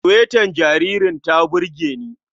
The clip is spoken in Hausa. Suwetar jaririn ta burge ni.